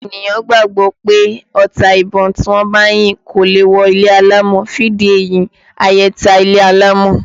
Àwọn ènìyàn gbàgbọ́ pé ọta ìbon tí wọ́n bá yín kò lè wọ ilé alámọ̀, fún ìdí èyí ayẹta ilé alámọ̀